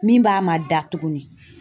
Min b'a mada tuguni